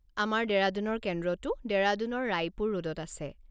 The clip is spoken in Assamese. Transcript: আমাৰ ডেৰাডুনৰ কেন্দ্ৰটো ডেৰাডুনৰ ৰায়পুৰ ৰোডত আছে।